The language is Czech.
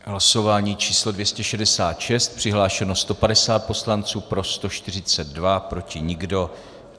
Hlasování číslo 266, přihlášeno 150 poslanců, pro 142, proti nikdo.